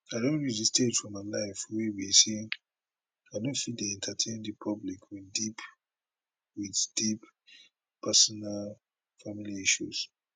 i don reach di stage for my life wey be say i no fit dey entertain di public wit deep wit deep personal family issues